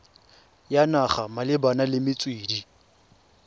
ya naga malebana le metswedi